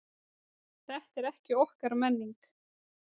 Þetta er ekki okkar menning